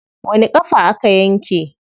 Wani ƙafa aka yanke?